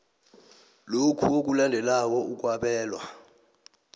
lokhu okulandelako okwabelwa